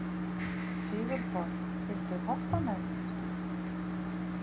Sigurborg, viltu hoppa með mér?